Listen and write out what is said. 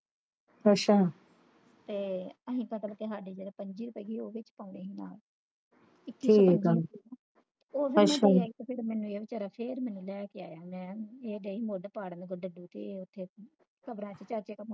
ਤੇ ਅਸੀਂ ਤਾ ਤੜਕੇ ਸਾਡੇ ਪੰਜ ਜੇ ਰੁਪਏ ਉਹਦੇ ਵਿੱਚ ਪਹਿਨੇ ਆ ਇਕੀ ਸੋ ਰੁਪਏ ਤੇ ਫਿਰ ਮੈਨੂੰ ਇਹ ਵਿਚਾਰਾ ਕੇ ਫਿਰ ਮੈਨੂੰ ਲੈ ਕੇ ਆਇਆ ਤੇ ਮੈਂ ਏ ਮੁੱਲ ਪਾੜ ਲੱਡੂ ਤੇ ਉੱਥੇ ਕਮਰਾ ਸੀ ਚਾਚੇ ਕਾ